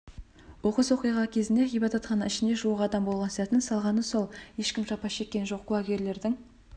оқыс оқиға кезінде ғибадатхана ішінде жуық адам болған сәтін салғаны сол ешкім жапа шеккен жоқ куәгерлердің